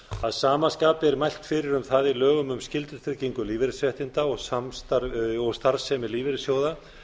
að sama skapi er mælt fyrir um það í lögum um skyldutryggingu lífeyrisréttinda og samstarf lífeyrissjóða